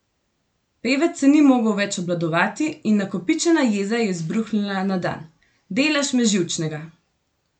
Pevec se ni mogel več obvladovati in nakopičena jeza je izbruhnila na dan: ''Delaš me živčnega.